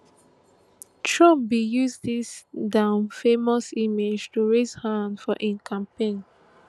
trump bin use dis nowfamous image to raise funds for im campaign